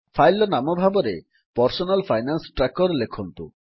file ର ନାମ ଭାବରେ ପର୍ସନାଲ ଫାଇନାନ୍ସ ଟ୍ରାକର ଲେଖନ୍ତୁ